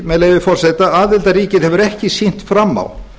með leyfi forseta aðildarríkið hefur ekki sýnt fram á